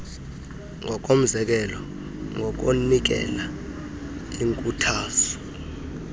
ngokomzekelo ngokunikela iinkuthazo